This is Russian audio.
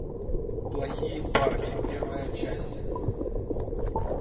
плохие парни первая часть